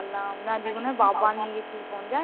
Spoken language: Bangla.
জানলাম। না সেদিন বাবা নিয়ে গেছিল phone